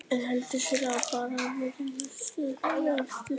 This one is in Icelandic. En ég held ég sé bara í vægu sjokki sjálfur.